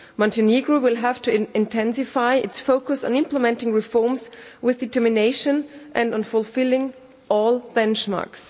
Montenegro will have to intensify its focus on implementing reforms with determination and on fulfilling all benchmarks.